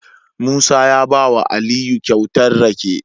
Musa ya bawa aliyu kyauta rake